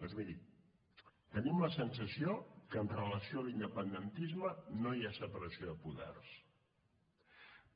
doncs miri tenim la sensació que amb relació a l’independentisme no hi ha separació de poders